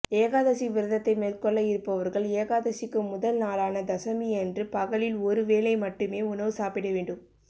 ஏகாதசி விரதத்தை மேற்கொள்ள இருப்பவர்கள் ஏகாதசிக்கு முதல் நாளான தசமியன்று பகலில் ஒரு வேளை மட்டுமே உணவு சாப்பிடவேண்டும்